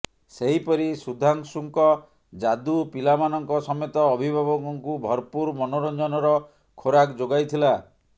ସେହିପରି ସୁଧାଂଶୁଙ୍କ ଯାଦୁ ପିଲାମାନଙ୍କ ସମେତ ଅଭିଭାବକଙ୍କୁ ଭରପୂର ମନୋରଂଜନର ଖୋରକ୍ ଯୋଗାଇଥିଲା